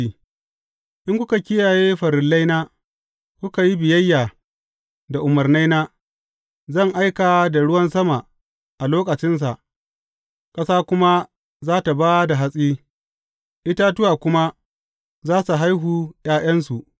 In kuka kiyaye farillaina, kuka yi biyayya da umarnaina, zan aika da ruwan sama a lokacinsa, ƙasa kuma za tă ba da hatsi, itatuwa kuma za su haihu ’ya’yansu.